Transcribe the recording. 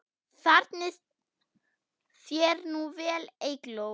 Farnist þér nú vel, Eygló.